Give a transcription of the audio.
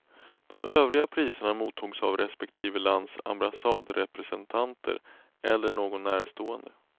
De övriga priserna mottogs av respektive lands ambassadrepresentanter eller någon närstående.